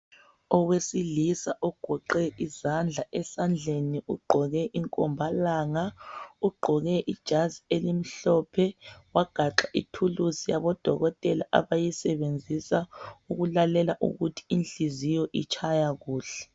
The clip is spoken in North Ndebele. owesilisa ogoqe izandla esandleni ugqoke inkombalanga ugqoke ijazi elimhlophe wagaxa ithuluzi yabo dokotela abayisebenzisa ukulale ukuthi inhliziyo itshaya kuhle